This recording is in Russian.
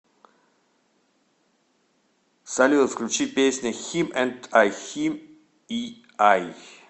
салют включи песня хим энд ай хим и ай